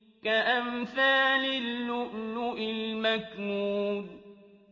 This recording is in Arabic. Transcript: كَأَمْثَالِ اللُّؤْلُؤِ الْمَكْنُونِ